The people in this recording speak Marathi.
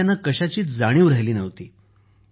आणि त्यांना कशाचीच जाणीव राहिली नव्हती